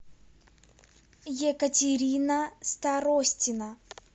екатерина старостина